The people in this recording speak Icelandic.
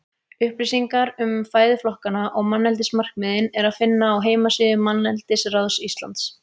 Upplýsingar um fæðuflokkana og manneldismarkmiðin er að finna á heimasíðu Manneldisráðs Íslands.